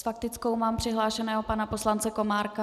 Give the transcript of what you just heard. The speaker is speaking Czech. S faktickou mám přihlášeného pana poslance Komárka.